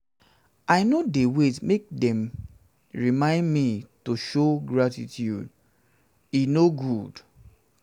i no dey wait make dem remind me to um show gratitude um show gratitude e um no good.